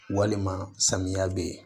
Walima samiya bɛ yen